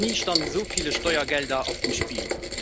Noch nie standen so viele Steuergelder auf dem Spiel.